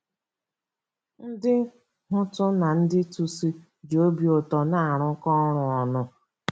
Ndị Hutu na ndị Tutsi ji obi ụtọ na-arụkọ ọrụ ọnụ